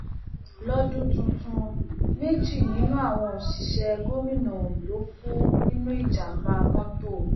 lọdún tuntun méjì nínú àwọn òṣìṣẹ gómìnà ondo kú nínú ìjàǹbá mọtò